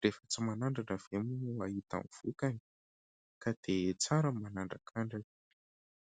Rehefa tsy manandrana ve moa mahita hy vokany ? Ka dia tsara ny manandrakandrana.